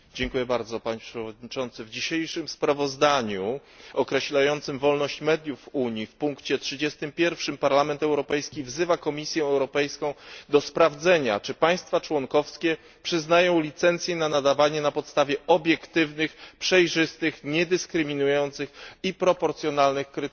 Panie Przewodniczący! W dzisiejszym sprawozdaniu określającym wolność mediów w Unii, w punkcie 31, Parlament Europejski wzywa Komisję Europejską do sprawdzenia, czy państwa członkowskie przyznają licencje na nadawanie na podstawie obiektywnych, przejrzystych, niedyskryminujących i proporcjonalnych kryteriów.